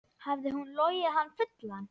Hafði hún logið hann fullan?